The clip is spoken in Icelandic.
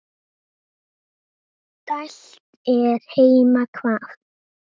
dælt er heima hvað.